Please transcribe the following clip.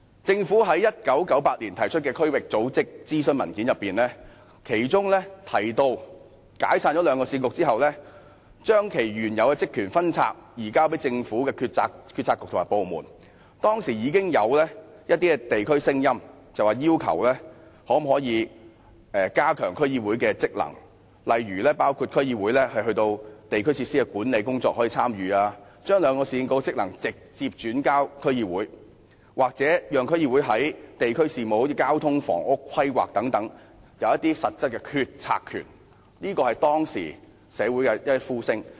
政府在1998年提出的區域組織諮詢文件中提到，解散兩個市政局後，會將其原有的職權分拆和移交政府的政策局及部門，當時地區上已經有聲音要求加強區議會的職能，例如區議會可參與地區設施的管理工作，將兩個市政局的職能直接轉授區議會，又或讓區議會在地區事務，例如交通、房屋規劃等有一些實質的決策權，這是當時社會上的呼聲。